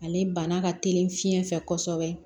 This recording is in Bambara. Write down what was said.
Ale bana ka teli fiɲɛ fɛ kosɛbɛ